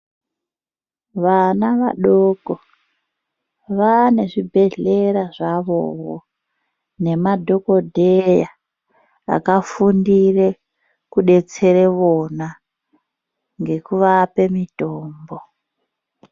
Vana vadoko vane zvibhehlera zvavovo nemadhokodheya akafundire kudetsera vona ngekuvape mitombo.